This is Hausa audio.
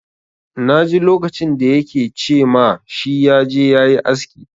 Na ji lokacin da ya ke ce ma shi ya je ya yi aski.